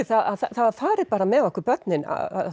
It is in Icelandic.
það var farið með okkur börnin